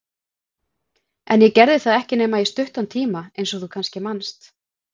En ég gerði það ekki nema í stuttan tíma, eins og þú kannski manst.